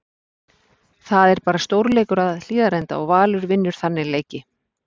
Það er bara stórleikur að Hlíðarenda og Valur vinnur þannig leiki.